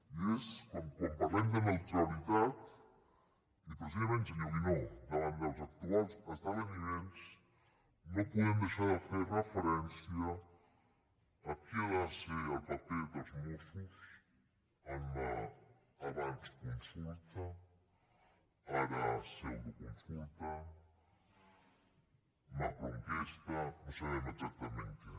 i és que quan parlem de neutralitat i precisament senyor guinó davant dels actuals esdeveniments no podem deixar de fer referència a quin ha de ser el paper dels mossos en l’abans consulta ara pseudoconsulta macroenquesta no sabem exactament què